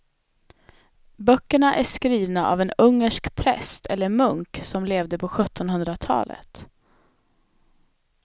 Böckerna är skrivna av en ungersk präst eller munk som levde på sjuttonhundratalet.